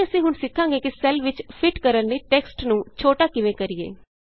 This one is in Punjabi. ਅੱਗੇ ਅਸੀਂ ਹੁਣ ਸਿੱਖਾਂਗੇ ਕਿ ਸੈੱਲ ਵਿਚ ਫਿਟ ਕਰਨ ਲਈ ਟੈਕਸ ਨੂੰ ਛੋਟਾ ਕਿਵੇਂ ਕਰੀਏ